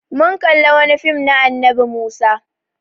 Mun kalla wani fim na annabi Musa.